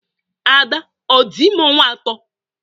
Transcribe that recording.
Ada à dị ime ọnwa atọ?